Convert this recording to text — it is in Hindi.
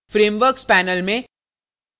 frameworks panel में